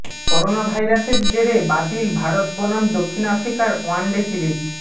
corona ভাইরাসের জেরে বাতিল ভারত বনাম দক্ষিণ আফ্রিকার ওয়ান ডে সিরিজ